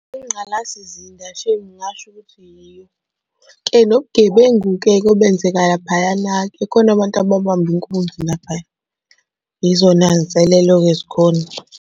Ingqalasizinda shame ngingasho ukuthi yiyo. Ke nobugebengu-ke obenzeka laphayana-ke khona abantu ababamba inkunzi laphaya yizona y'nselelo-ke ezikhona.